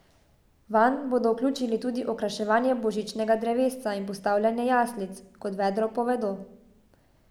Vanj bodo vključili tudi okraševanje božičnega drevesca in postavljanje jaslic, kot vedro povedo.